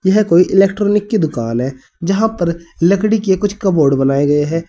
यह कोई इलेक्ट्रॉनिक की दुकान है जहां पर लकड़ी के कुछ कबोर्ड बनाए गए हैं।